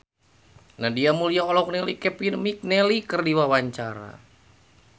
Nadia Mulya olohok ningali Kevin McNally keur diwawancara